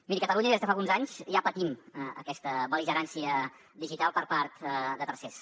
miri a catalunya des de fa alguns anys ja patim aquesta bel·ligerància digital per part de tercers